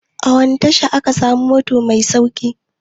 A wani tasha ake samun mota mai sauƙi?